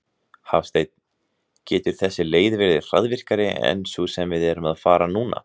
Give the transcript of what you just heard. Hafsteinn: Getur þessi leið verið hraðvirkari en sú sem við erum að fara núna?